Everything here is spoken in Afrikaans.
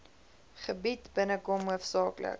gebied binnekom hoofsaaklik